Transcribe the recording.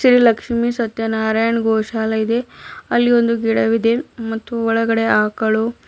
ಶ್ರೀ ಲಕ್ಷ್ಮಿ ಸತ್ಯನಾರಯಣ್ ಗೋಶಾಲ ಇದೆ ಅಲ್ಲಿ ಒಂದು ಗಿಡವಿದೆ ಮತ್ತು ಒಳಗಡೆ ಆಕಳು--